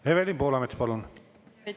Evelin Poolamets, palun!